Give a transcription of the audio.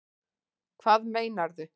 Hvað meinarðu?